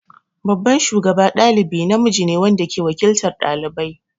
Babban shugaba ɗalibi namiji ne wanda ke waƙiltar ɗalibai.